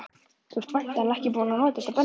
Þú ert væntanlega ekki búinn að nota þetta bensín?